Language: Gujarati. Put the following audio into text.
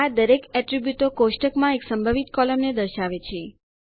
આ દરેક એટ્રીબ્યુટો કોષ્ટકમાં એક સંભવિત કોલમને દર્શાવે છે